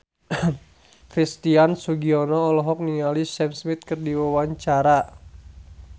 Christian Sugiono olohok ningali Sam Smith keur diwawancara